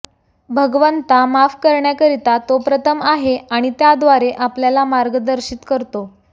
भगवंता माफ करण्याकरिता तो प्रथम आहे आणि त्याद्वारे आपल्याला मार्गदर्शित करतो